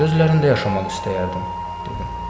Gözlərində yaşamaq istəyərdim, dedim.